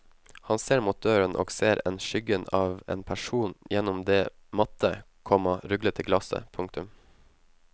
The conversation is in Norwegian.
Han ser mot døren og ser en skyggen av en person gjennom det matte, komma ruglete glasset. punktum